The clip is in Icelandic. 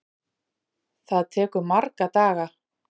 Það tekur marga daga!